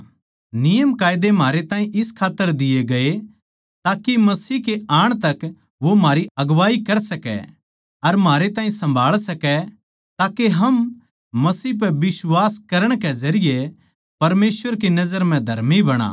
नियमकायदे म्हारे ताहीं इस खात्तर दिए गये ताके मसीह के आण तक वो म्हारी अगुवाई कर सकै अर म्हारे ताहीं सम्भाळ सकै ताके हम मसीह पै बिश्वास करण के जरिये परमेसवर की नजर म्ह धर्मी बणा